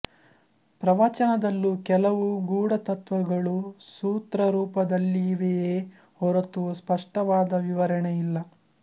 ಪ್ರವಚನದಲ್ಲೂ ಕೆಲವು ಗೂಢತತ್ತ್ವಗಳು ಸೂತ್ರರೂಪದಲ್ಲಿವೆಯೇ ಹೊರತು ಸ್ಪಷ್ಟವಾದ ವಿವರಣೆ ಇಲ್ಲ